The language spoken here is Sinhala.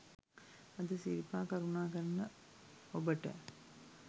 අද සිරිපා කරුණා කරන ඔබට